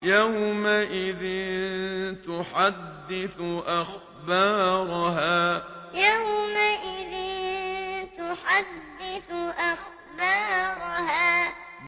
يَوْمَئِذٍ تُحَدِّثُ أَخْبَارَهَا يَوْمَئِذٍ تُحَدِّثُ أَخْبَارَهَا